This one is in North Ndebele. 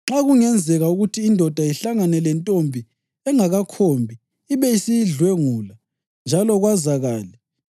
Nxa kungenzeka ukuthi indoda ihlangane lentombi engakakhombi ibe isiyidlwengula njalo kwazakale.